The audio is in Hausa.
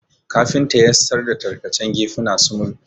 Kafinta yassar da tarkacen gefuna sumul